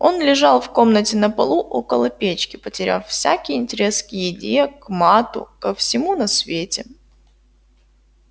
он лежал в комнате на полу около печки потеряв всякий интерес к еде к мату ко всему на свете